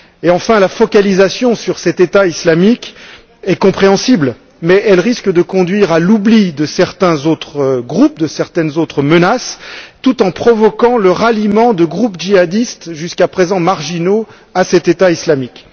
Enfin, la focalisation sur cet État islamique est compréhensible mais elle risque de conduire à l'oubli de certains autres groupes, de certaines autres menaces, tout en provoquant le ralliement de groupes djihadistes, jusqu'à présent marginaux, à cet État islamique.